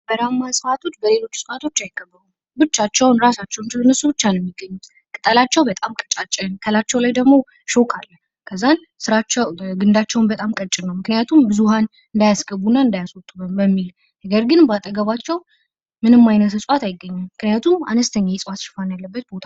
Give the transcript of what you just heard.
በረሃማ እጽዋቶች በሌሎች እጽዋቶች አይከበቡም ፣ ብቻቸውን ነው የሚገኙት ፣ ቅጠላቸው በጣም ቀጫጭን ሲሆን፤ እሾህ አላቸው።